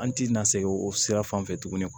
An ti na segin o sira fan fɛ tuguni